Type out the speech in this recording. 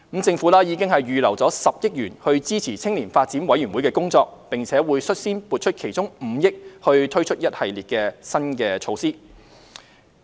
政府已預留了10億元支持青年發展委員會的工作，並會率先撥出其中5億元推出一系列新措施。